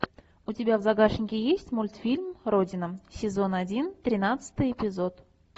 у тебя в загашнике есть мультфильм родина сезон один тринадцатый эпизод